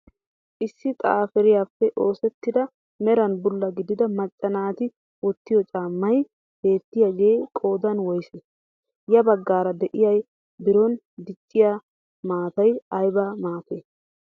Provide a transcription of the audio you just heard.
Issi xapiraappe oosettida meran bulla gidida macca naati wottiyoo caammay beettiyaagee qoodan woysee? ya baggaara de'iyaa biron dicciyaa maatay ayba maatee?